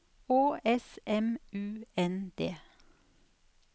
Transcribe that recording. Å S M U N D